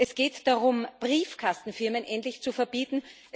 Es geht darum, Briefkastenfirmen endlich zu verbieten.